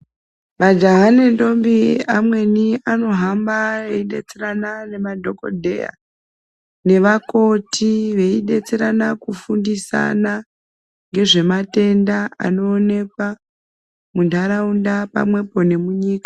Majaha nendombi amweni anohamba eyidetserana nemadhokodheya nevakoti veyidetserana kufundisina ngezve matenda anoonekwa muntaraunda pamwepo nemunyika.